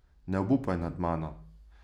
Ne obupaj nad mano.